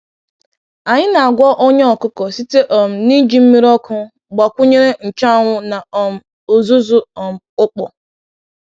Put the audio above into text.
Anyị na-agwọ ọnya ọkụkọ site um n’iji mmiri ọkụ gbakwunyere nchuanwu na um uzuzu um ukpo.